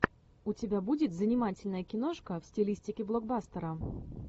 у тебя будет занимательная киношка в стилистике блокбастера